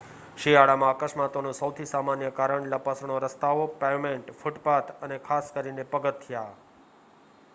શિયાળામાં અકસ્માતોનું સૌથી સામાન્ય કારણ લપસણો રસ્તાઓ પેવમેન્ટ ફૂટપાથ અને ખાસ કરીને પગથિયા